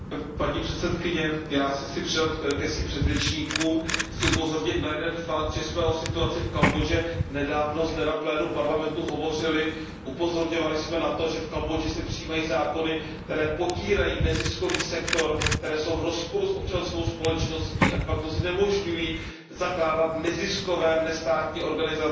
Paní předsedkyně, já se chci přidat ke svým předřečníkům, chci upozornit na jeden fakt, že jsme o situaci v Kambodži nedávno zde na plénu Parlamentu hovořili, upozorňovali jsme na to, že v Kambodži se přijímají zákony, které potírají neziskový sektor, které jsou v rozporu s občanskou společností a de facto znemožňují zakládat neziskové, nestátní a